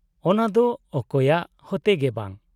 ᱚᱱᱟ ᱫᱚ ᱚᱠᱚᱭᱟᱜ ᱦᱚᱛᱮ ᱜᱮ ᱵᱟᱝ ᱾